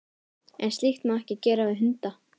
En slíkt má ekki gera við hunda.